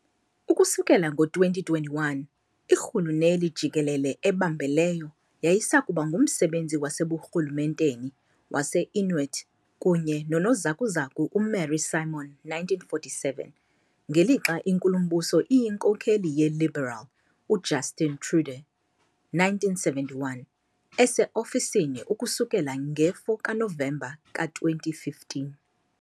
Ukusukela ngo-2021, irhuluneli jikelele ebambeleyo yayisakuba ngumsebenzi waseburhulumenteni wase-Inuit kunye nonozakuzaku uMary Simon, 1947, ngelixa inkulumbuso iyinkokeli "yeLiberal" uJustin Trudeau,1971, ese-ofisini ukusukela nge-4 kaNovemba ka-2015.